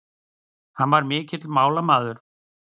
Hann var mikill málamaður.